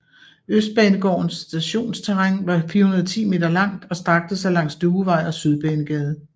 Østbanegårdens stationsterræn var 410 m langt og strakte sig langs Duevej og Sydbanegade